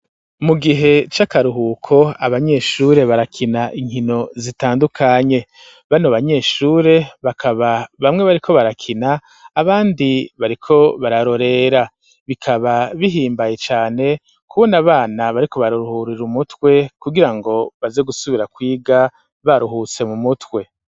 Mu gihe c'akaruhuko abanyeshure barakina inkino zitandukanye bano banyeshure bakaba bamwe bariko barakina abandi bariko bararorera bikaba bihimbaye cane kubo na abana bariko baruruhurira umutwe kugira ngo baze gusubira kwiga baruhuse mu mutwe.